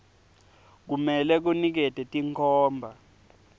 kumele kunikete tinkhomba